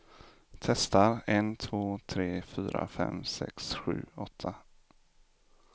Testar en två tre fyra fem sex sju åtta.